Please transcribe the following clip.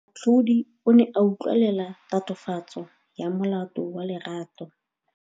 Moatlhodi o ne a utlwelela tatofatsô ya molato wa Lerato.